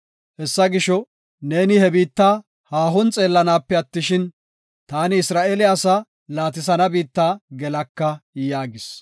Hessa gisho, neeni he biitta haahon xeellanaape attishin, ta Isra7eele asaa laatisana biitta gelaka” yaagis.